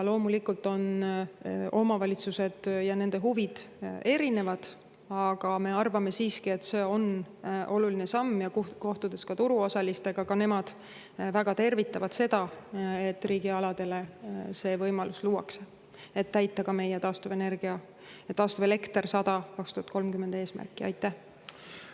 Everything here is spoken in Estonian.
Loomulikult on omavalitsused ja nende huvid erinevad, aga me arvame siiski, et see on oluline samm, ja turuosalistega kohtudes ka nemad väga tervitavad seda, et riigialadele see võimalus luuakse, et täita ka meie eesmärk.